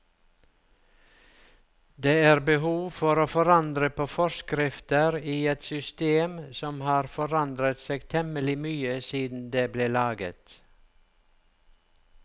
Det er behov for å forandre på forskrifter i et system som har forandret seg temmelig mye siden det ble laget.